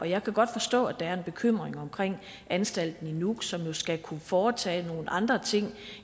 jeg kan godt forstå at der er en bekymring omkring anstalten i nuuk som jo skal kunne foretage nogle andre ting